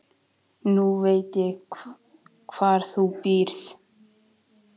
Nú veit ég hvar þú býrð.